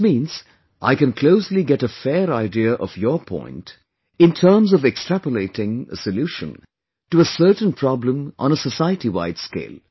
This means, I can closely get a fair idea of your point, in terms of extrapolating a solution to a certain problem on a society wide scale